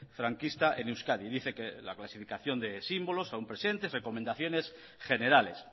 franquista en euskadi dice que la clasificación de símbolos aún presentes recomendaciones generales